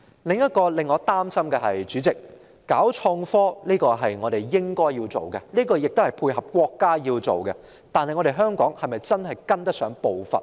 主席，令我擔心的另一問題是，發展創科是我們應該做的，亦是配合國家要做的事，但香港是否確實跟得上步伐呢？